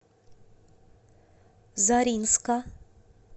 заринска